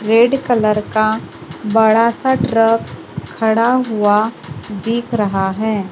Red colour का बड़ा सा ट्रक खड़ा हुआ दिख रहा है।